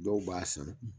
Dɔw b'a san